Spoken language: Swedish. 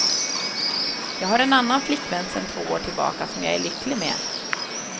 Jag har en annan flickvän sen två år tillbaka som jag är lycklig med.